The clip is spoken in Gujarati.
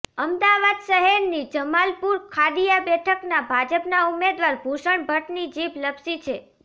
અમદાવાદ શહેરની જમાલપુર ખાડિયા બેઠકના ભાજપના ઉમેદવાર ભૂષણ ભટ્ટની જીભ લપસી છે